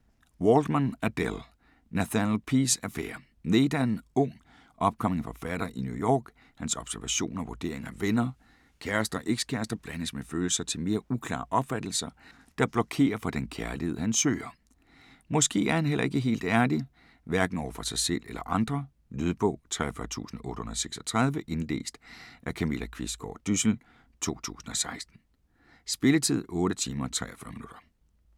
Waldman, Adelle: Nathaniel P's affærer Nate er en ung, upcoming forfatter i New York. Hans observationer og vurderinger af venner, kærester og ex-kærester blandes med følelser til mere uklare opfattelser, der blokerer for den kærlighed, han søger. Måske er han heller ikke helt ærlig, hverken over for sig selv eller andre. Lydbog 43836 Indlæst af Camilla Qvistgaard Dyssel, 2016. Spilletid: 8 timer, 43 minutter.